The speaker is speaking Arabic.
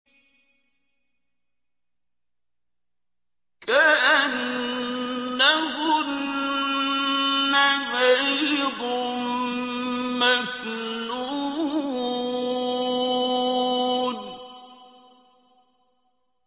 كَأَنَّهُنَّ بَيْضٌ مَّكْنُونٌ